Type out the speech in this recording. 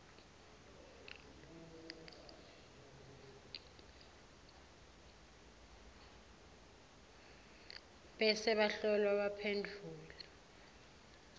bese bahlolwa baphendvula